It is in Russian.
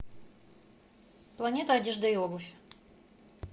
планета одежда и обувь